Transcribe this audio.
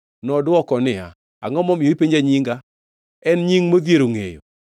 Nodwoko niya, “Angʼo ma omiyo ipenjo nyinga? En nying modhiero ngʼeyo.”